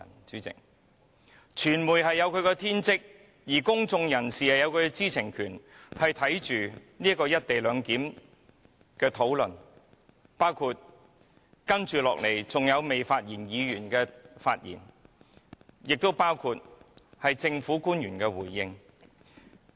主席，傳媒有其天職，公眾人士也有其知情權，可觀看"一地兩檢"議案的討論，包括接下來仍未發言議員的發言及政府官員的回應。